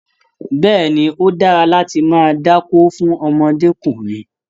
Bẹ́ẹ̀ni, ó dára láti máa dákó fún ọmọdékùnrin.